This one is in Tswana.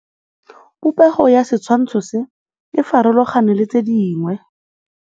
Popêgo ya setshwantshô se, e farologane le tse dingwe.